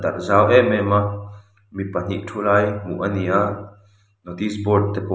zau em em a mi pahnih thu lai hmuh a ni a notice board te pawh--